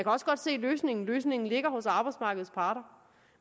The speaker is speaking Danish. også godt se løsningen løsningen ligger hos arbejdsmarkedets parter